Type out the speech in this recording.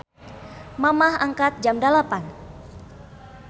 Mamah angkat jam 08.00